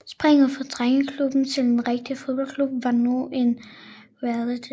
Springet fra drengeklub til en rigtig fodboldklub var nu en realitet